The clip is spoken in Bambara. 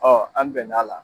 an bɛn'a la